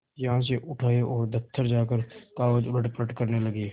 यहाँ से उठ आये और दफ्तर जाकर कागज उलटपलट करने लगे